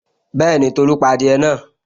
Bẹ́ẹ̀ni, Tolu pa adìẹ náà